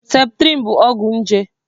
Septrịn bụ ọgwụ eji agwọ nje